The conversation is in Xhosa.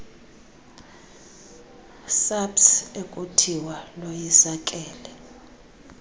saps ekuthiwa loyisakele